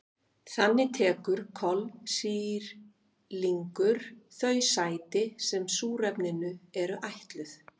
Þannig tekur kolsýrlingur þau sæti sem súrefninu eru ætluð.